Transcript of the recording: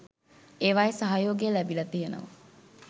ඒවායේ සහයෝගය ලැබිල තියෙනවා